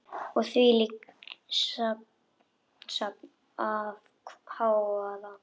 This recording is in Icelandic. Og þvílíkt samsafn af hávaða.